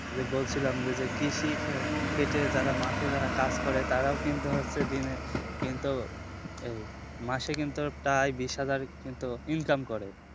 যে বলছিলাম যে কৃষি খেটে যারা মাঠে যারা কাজ করে তারাও কিন্তু হচ্ছে দিনে কিন্তু মাসে প্রায় কিন্তু বিষ হাজার income করে